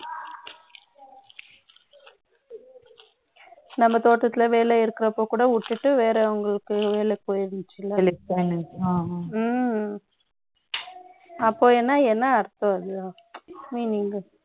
நம்ம தோட்டத்துல, வேலை இருக்கிறப்ப கூட விட்டுட்டு, வேறவங்களுக்கு, வேலை போயிருந்தீங்களா ம்ம். அப்போன்னா என்ன அர்த்தம் அது ஹம்